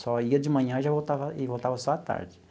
Só ia de manhã e já voltava e voltava só à tarde.